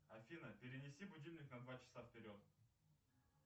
афина перенеси будильник на два часа вперед